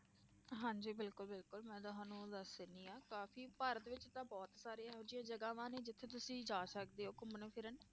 ਹਾਂਜੀ ਬਿਲਕੁਲ ਬਿਲਕੁਲ ਮੈਂ ਤੁਹਾਨੂੰ ਦੱਸ ਦਿੰਦੀ ਹਾਂ ਕਾਫ਼ੀ ਭਾਰਤ ਵਿੱਚ ਤਾਂ ਬਹੁਤ ਸਾਰੀਆਂ ਇਹੋ ਜਿਹੀਆਂ ਜਗ੍ਹਾਵਾਂ ਨੇ ਜਿੱਥੇ ਤੁਸੀਂ ਜਾ ਸਕਦੇ ਹੋ ਘੁੰਮਣ ਫਿਰਨ